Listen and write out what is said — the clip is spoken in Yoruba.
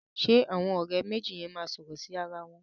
Ṣẹ àwọn ọ̀rẹ́ méjì yẹn máa sọ̀rọ̀ sí ara wọn